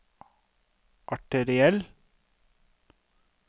arteriell